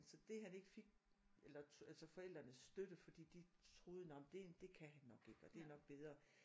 Så det han ikke fik eller altså forældrenes støtte fordi de troede nej men det det kan han nok ikke og det er nok bedre